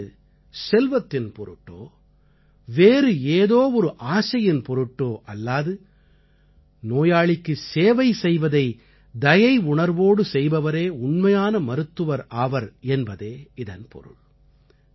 அதாவது செல்வத்தின் பொருட்டோ வேறு ஏதோ ஒரு ஆசையின் பொருட்டோ அல்லாது நோயாளிக்கு சேவை செய்வதை தயை உணர்வோடு செய்பவரே உண்மையான மருத்துவர் ஆவர் என்பதே இதன் பொருள்